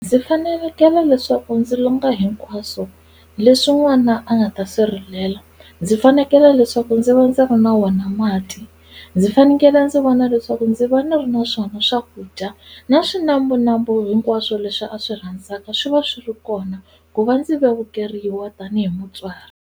Ndzi fanelekele leswaku ndzi longa hinkwaswo leswi n'wana a nga ta swi rilela, ndzi fanekele leswaku ndzi va ndzi ri na wona mati, ndzi fanekele ndzi vona leswaku ndzi va ni ri na swona swakudya na swinambunambu hinkwaswo leswi a swi rhandzaka swi va swi ri kona ku va ndzi vevukeriwa tanihi mutswari.